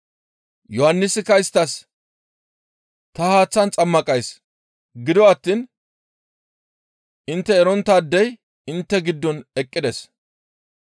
Yohannisikka isttas, «Ta haaththan xammaqays; gido attiin intte eronttaadey intte giddon eqqides.